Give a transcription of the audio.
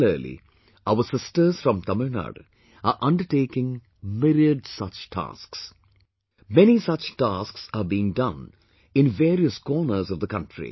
Similarly, our sisters from Tamilnadu are undertaking myriad such tasks...many such tasks are being done in various corners of the country